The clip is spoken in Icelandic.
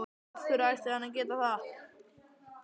Af hverju ætti hann að geta það?